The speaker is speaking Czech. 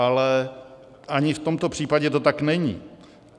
Ale ani v tomto případě to tak není.